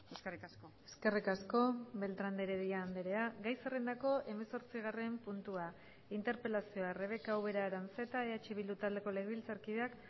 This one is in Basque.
eskerrik asko eskerrik asko beltrán de heredia andrea gai zerrendako hemezortzigarren puntua interpelazioa rebeka ubera aranzeta eh bildu taldeko legebiltzarkideak